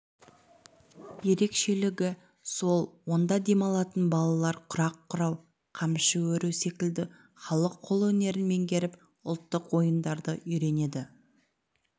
ерекшелігі сол онда демалатын балалар құрақ құрау қамшы өру секілді халық қолөнерін меңгеріп ұлттық ойындарды үйренеді